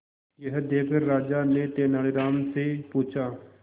यह देखकर राजा ने तेनालीराम से पूछा